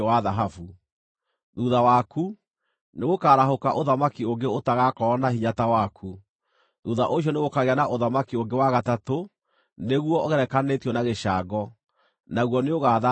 “Thuutha waku, nĩgũkarahũka ũthamaki ũngĩ ũtagaakorwo na hinya ta waku. Thuutha ũcio nĩgũkagĩa na ũthamaki ũngĩ wa gatatũ, nĩguo ũgerekanĩtio na gĩcango, naguo nĩũgaatha thĩ yothe.